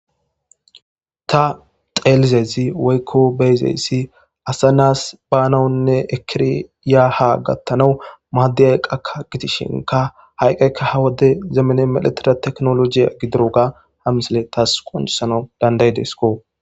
Ta xeelizezi weykko beyzeyssi asa naas baanawunne ekiriyaha gattanawu maaddiyay qaka gitishinka hayqayka ha wode zeemene meletira teknolojiya gidiroga hamisile taas qonusana dandaydesko.